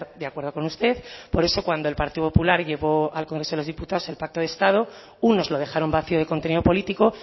de acuerdo con usted por eso cuando el partido popular llevó al congreso de los diputados el pacto de estado unos lo dejaron vacío de contenido político